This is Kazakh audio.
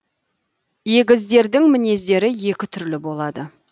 егіздердің мінездері екі түрлі болады